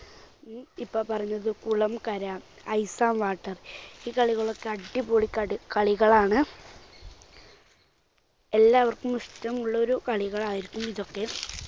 ഇഇപ്പോൾ പറഞ്ഞത് കുളം കര, ice and water ഈ കളികളൊക്കെ അടിപൊളി കടികളികളാണ്. എല്ലാവർക്കും ഇഷ്ടമുള്ളൊരു കളികളായിരിക്കും ഇതൊക്കെ.